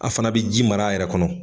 A fana bɛ ji mara a yɛrɛ kɔnɔ